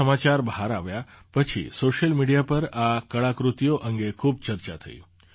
તે સમાચાર બહાર આવ્યા પછી સૉશિયલ મીડિયા પર આ કળાકૃતિઓ અંગે ખૂબ ચર્ચા થઈ